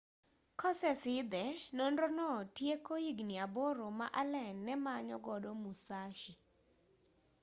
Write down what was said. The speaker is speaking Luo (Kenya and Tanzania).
kosesidhe nonro no tieko higni aboro ma allen nemanyo godo musashi